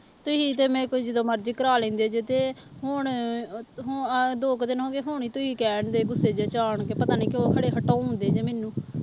ਤੁਸੀਂ ਤੇ ਮੇਰੇ ਕੋਲੋਂ ਜਦੋਂ ਮਰਜ਼ੀ ਕਰਵਾ ਲੈਂਦੇ ਜੇ ਤੇ ਹੁਣ ਹੁ ਆਹ ਦੋ ਕੁ ਦਿਨ ਹੋ ਗਏ ਹੁਣ ਹੀ ਤੁਸੀਂ ਕਹਿਣਡੇ ਗੁੱਸੇ ਜਿਹੇ ਚ ਆਣ ਕੇ ਪਤਾ ਨੀ ਕਿਉਂ ਖਰੇ ਹਟਾਉਂਦੇ ਜੇ ਮੈਨੂੰ